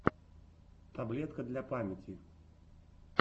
таблетка для памяти